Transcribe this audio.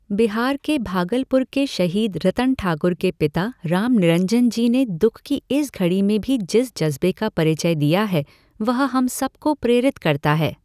बिहार के भागलपुर के शहीद रतन ठाकुर के पिता रामनिरंजन जी ने दुःख की इस घड़ी में भी जिस ज़ज्बे का परिचय दिया है वह हम सबको प्रेरित करता है।